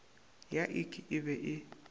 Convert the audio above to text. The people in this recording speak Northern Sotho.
ya ik e be e